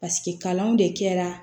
Paseke kalanw de kɛra